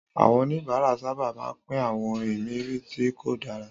Àwọn oníbàárà sábà máa ń pín àwọn ìmirí tí kò dára.